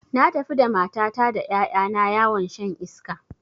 Na tafi da matata da ƴaƴa na yawon shan iska